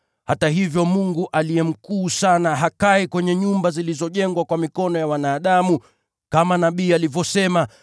“Hata hivyo, Yeye Aliye Juu Sana hakai kwenye nyumba zilizojengwa kwa mikono ya wanadamu. Kama nabii alivyosema: